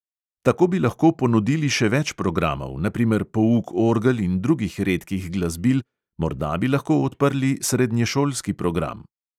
Tako bi lahko ponudili še več programov, na primer pouk orgel in drugih redkih glasbil, morda bi lahko odprli srednješolski program.